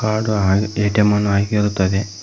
ಹಾಡು ಹಾ ಎ_ಟಿ_ಎಂ ಅನ್ನು ಆಗಿರುತ್ತದೆ.